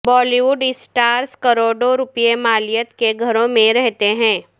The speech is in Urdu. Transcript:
بالی ووڈ سٹار ز کروڑوں روپے مالیت کے گھروں میں رہتے ہیں